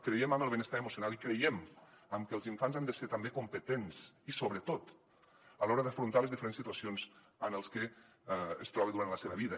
creiem en el benestar emocional i creiem que els infants han de ser també competents i sobretot a l’hora d’afrontar les diferents situacions en què es trobarà durant la seva vida